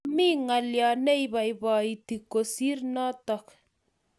Mamie ngalyo ne ibaibaiti kosir notok